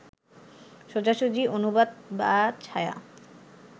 সোজাসুজি অনুবাদ বা ছায়া